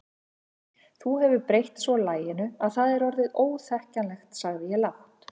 Þú hefur breytt svo laginu að það er orðið óþekkjanlegt sagði ég lágt.